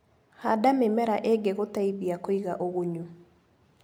Handa mĩmera ĩngĩ gũteithia kũiga ũgunyu.